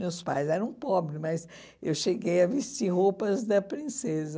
Meus pais eram pobres, mas eu cheguei a vestir roupas da princesa.